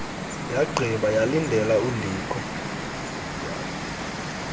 yagqiba yalindela undikho